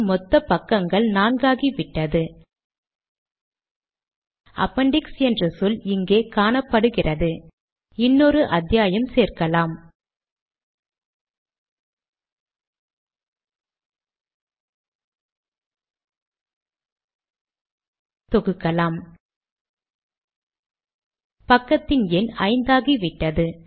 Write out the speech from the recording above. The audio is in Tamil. புதிய பத்தி உருவானதால் கடிதம் இரண்டு பக்கங்களாகிவிட்டது